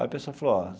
Aí a pessoa falou ó,